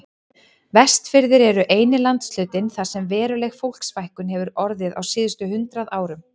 Vestfirðir eru eini landshlutinn þar sem veruleg fólksfækkun hefur orðið á síðustu hundrað árum.